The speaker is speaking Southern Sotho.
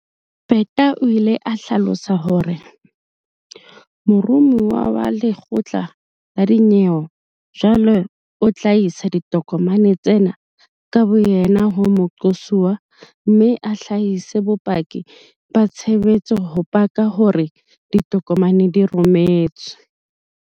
Peta o ile a hlalosa hore- Mo romuwa wa lekgotla la dinyewe jwale o tla isa ditokomane tsena ka boyena ho moqosuwa mme a hlahise bopaki ba tshebetso ho paka hore ditokomane di rometswe.